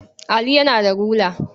Ali yana da rula.